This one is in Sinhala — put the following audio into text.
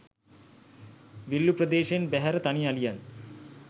විල්ලූ ප්‍රදේශයෙන් බැහැර තනි අලියන්